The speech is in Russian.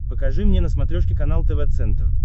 покажи мне на смотрешке канал тв центр